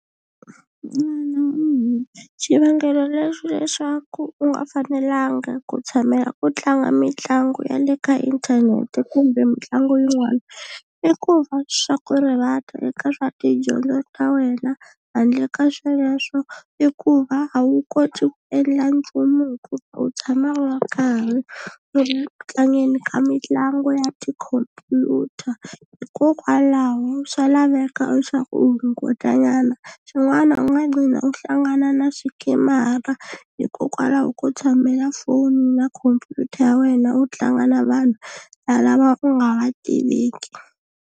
xivangelo lexi leswaku u nga fanelanga ku tshamela ku tlanga mitlangu ya le ka inthanete kumbe mitlangu yin'wana i ku va swa ku rivata eka swa tidyondzo ta wena handle ka sweswo i ku va a wu koti ku endla nchumu hikuva u tshama u karhi u ri ku tlangeni ka mitlangu ya tikhomphyuta hikokwalaho swa laveka leswaku u hunguta nyana xin'wana u nga qhina u hlangana na swikemara hikokwalaho ko tshamela foni na khompyuta ya wena u tlanga na vanhu lava u nga va tiveki.